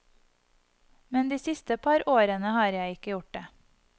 Men de siste par årene har jeg ikke gjort det.